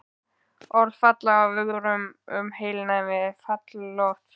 Orð falla af vörum um heilnæmi fjallalofts.